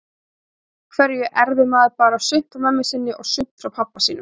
Af hverju erfir maður bara sumt frá mömmu sinni og sumt frá pabba sínum?